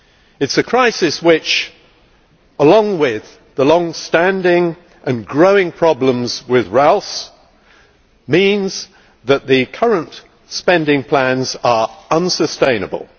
It is a crisis which, along with the long standing and growing problems with RALs, means that the current spending plans are unsustainable.